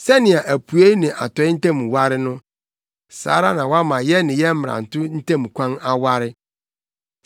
Sɛnea apuei ne atɔe ntam ware no, saa ara na wama yɛn ne yɛn mmarato ntam kwan aware.